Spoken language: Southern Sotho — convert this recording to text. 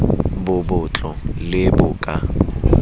bo botlo le bo ka